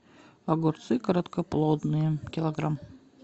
огурцы короткоплодные килограмм